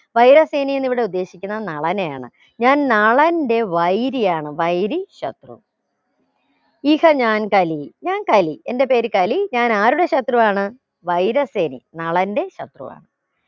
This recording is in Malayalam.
വൈര സേനി എന്ന് ഇവിടെ ഉദ്ദേശിക്കുന്നത് നളനെയാണ് ഞാൻ നളന്റെ വൈരി ആണ് വൈരി ശത്രു ഇഷ ഞാൻ കലി ഞാൻ കലി എന്റെ പേര് കലി ഞാൻ ആരുടെ ശത്രുവാണ് വൈര സേനി നളന്റെ ശത്രുവാണ്